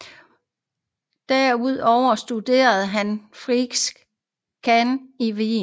Herudover studerede han hos Friedrich Cerha i Wien